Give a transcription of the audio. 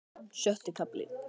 Sjötti kafli